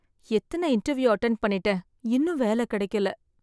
எத்தன interview attend பண்ணிட்டேன், இன்னும் வேல கெடைக்கல.